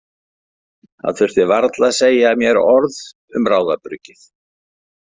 Hann þurfti varla að segja mér orð um ráðabruggið.